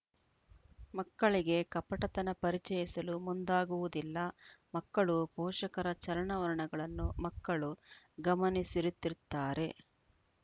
ಮಕ್ಕಳಿಗೆ ಕಪಟತನ ಪರಿಚಯಿಸಲು ಮುಂದಾಗುವುದಿಲ್ಲ ಮಕ್ಕಳು ಪೋಷಕರ ಚಲನವಲನಗಳನ್ನು ಮಕ್ಕಳು ಗಮನಿಸುತ್ತಿರುತ್ತಾರೆ